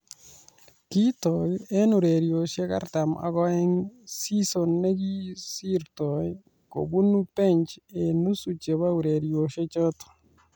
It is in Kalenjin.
Kitok eng ureriosyek artam ak oeng season nekosirtoi ,kobunu bench eng nusu chebo ureriosiechoto